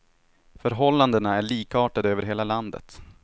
Förhållandena är likartade över hela landet.